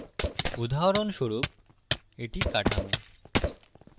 উদাহরণস্বরূপএটি কাঠামো